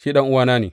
Shi ɗan’uwana ne.